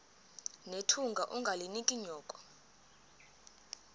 nethunga ungalinik unyoko